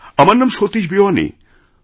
আমারনাম Satish Bewani